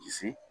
Disi